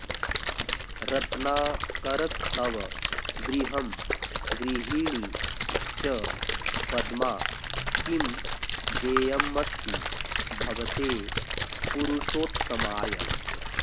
रत्नाकरस्तव गृहं गृहिणी च पद्मा किं देयमस्ति भवते पुरुषोत्तमाय